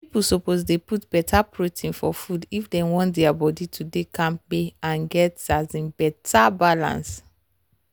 people suppose dey put better protein for food if dem want their body to dey kampe and get um better balance.